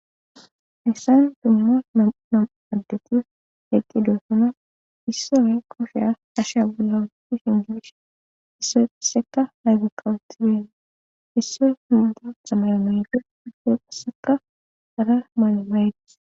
essayn dumma namaddeti eqqidosana issoye kosheya asha bula awueti shingibsh isso isseka haygekkawutideene issoy hinda zamayomeyfe isse qasseka gara maalamayeti